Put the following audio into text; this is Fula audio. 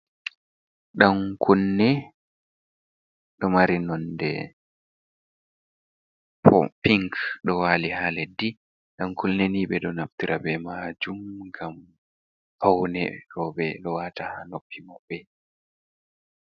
Ɗankunne ɗo mari nonde pink do wali ha leddi, dan kunne ni be ɗo naftira be majum ngam faune roɓe lowata ha noppi maɓbe.